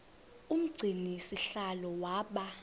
umgcini sihlalo waba